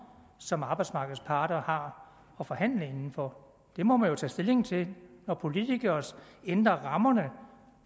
som arbejdsmarkedets parter har at forhandle inden for det må man jo tage stilling til når politikere ændrer rammerne